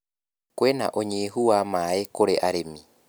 Kwĩna ũnyihu wa maĩ kũrĩ arĩmi.